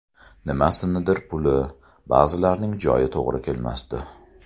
Nimasinidir puli, ba’zilarining joyi to‘g‘ri kelmasdi.